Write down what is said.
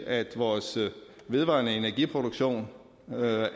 at vores vedvarende energiproduktion